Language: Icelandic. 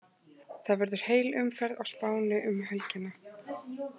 Það verður heil umferð á Spáni um helgina.